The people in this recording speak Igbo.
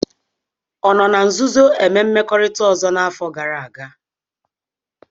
Ọ nọ na nzuzo eme mmekorita ọzọ n'afọ gara aga?